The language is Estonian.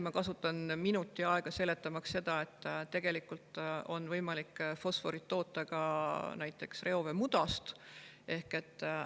Ma kasutan minuti aega, seletamaks seda, et tegelikult on võimalik fosforit toota ka näiteks reoveemudast.